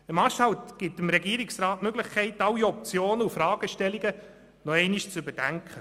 Ein Marschhalt bietet dem Regierungsrat die Möglichkeit, alle Optionen und Fragestellungen nochmals zu überdenken.